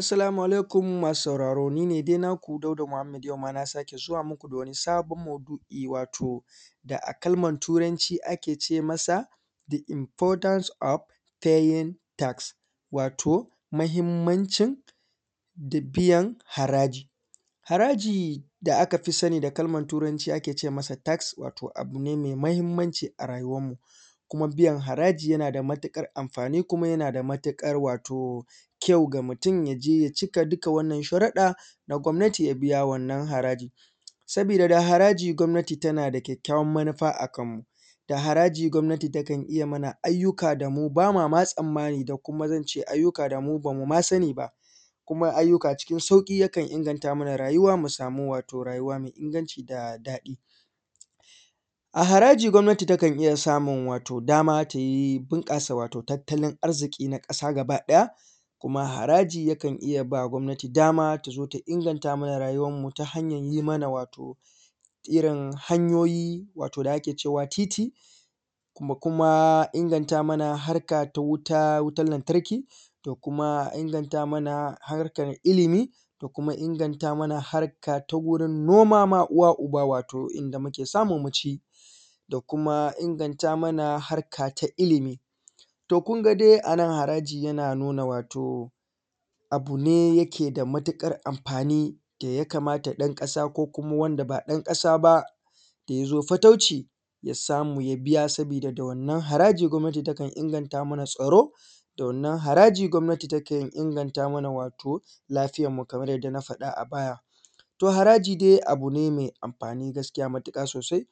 Assalamu alaikum, masu sauraro ni ne dai naku Dauda Mahammed yau ma na sake zuwa muku da wani sabon maudu`I wato da a kalmar turanci ake ce masa “the importance of paying tax” wato mahimmancin da biyan haraji, haraji da aka fi sani da kamar turanci ake ce masa “tax” wato abu ne mai mahimmanci a rayuwan mu kuma biyan haraji yana da matuƙan amfani kuma yana da matuƙar wato kyau ga mutum ya je ya cika dukka wannan sharuɗa na gwamnati ya je ya biya wannan haraji sabida haraji gwamnati tana da kyakkayawan manufa a kan mu, da haraji gwamnati takan iya mana ayyuka da mu bama ma tsammani da kuma zan ce da mu bamu ma sani ba kuma ayyuka cikin sauƙi yakan inganta mana rayuwa musamu wato rayuwa mai inganci da daɗi a haraji gwamnati takan iya samun wato dama tayi bunƙasa wato tattalin arziki na ƙasa gaba ɗaya kuma haraji yakan iya ba gwamnati dama ta zo ta inganta mana rayuwan mu ta hanyar yi man wato irin hanyoyi wato da ake cewa titi, mu kuma ingata mana ta wuta wutan lantarki, ta kuma inganta mana harka ta ilimi, ta kuma inganta mana ta wurin noma ma uwa uba wato inda muke samu mu ci, ta kuma inganta mana harka ta ilimi, to kunga dai anan haraji yana nuna wato abu ne yake da matuƙar amfani da ya kamata ɗan ƙasa ko kuma wand aba ɗan ƙasa ba da yazo fatauci ya samu ya biya saboda da wannan haraji gwamnati takan inganta mana tsaro, da wannan haraji gwamnati takan inganta mana wato lafiyar mu kamar yadda na faɗa a baya, to haraji dai abu ne mai amfani gaskiya matuƙa sosai